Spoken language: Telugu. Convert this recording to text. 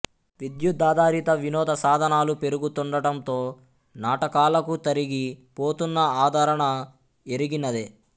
విద్యుదాధారిత వినోద సాధనాలు పెరుగుతుండటంతో నాటకాలకు తరిగి పోతున్న ఆదరణ ఎరిగినదే